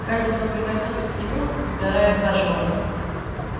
каждый кто прикоснётся к нему сгорает заживо